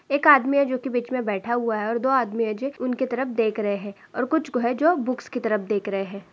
एक आदमी है जो की बीच में बैठा हुआ है और दो आदमी है जे उनके तरफ देख रहे हैं और कुछ को है जो बुक्स की तरफ देख रहे है।